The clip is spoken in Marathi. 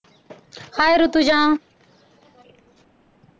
hi ऋतुजा